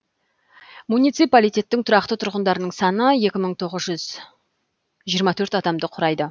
муниципалитеттің тұрақты тұрғындарының саны екі мың тоғыз жүз жиырма төрт адамды құрайды